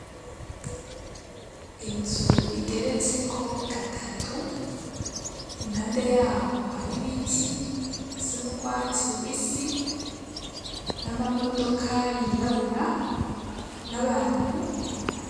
Inzu igeretseko gatatu, impande yaho hari biti bisa n'ugwatsi rubisi, n'amamodoka yirabura n'abantu.